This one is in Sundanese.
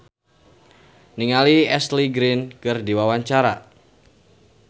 Iszur Muchtar olohok ningali Ashley Greene keur diwawancara